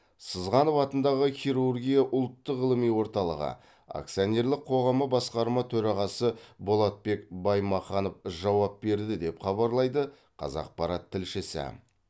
сызғанов атындағы хирургия ұлттық ғылыми орталығы акционерлік қоғамы басқарма төрағасы болатбек баймаханов жауап берді деп хабарлайды қазақпарат тілшісі